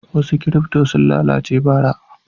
Wasu kirifto sun lalace bara.